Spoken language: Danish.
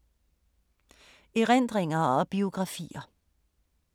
Erindringer og biografier